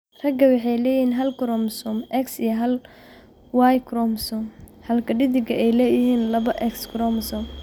Raggu waxay leeyihiin hal koromosoom X iyo hal Y koromosoom, halka dheddiggana ay leeyihiin laba X koromosoom.